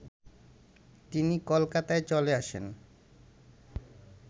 তিনি কলকাতায় চলে আসেন